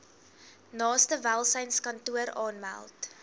naaste welsynskantoor aanmeld